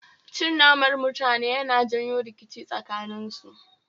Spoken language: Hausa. Cin naman mutane Yana janyo rikici tsakanen su